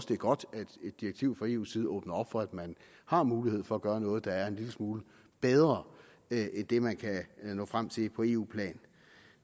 det er godt at et direktiv fra eus side åbner op for at man har mulighed for at gøre noget der er en lille smule bedre end det man kan nå frem til på eu plan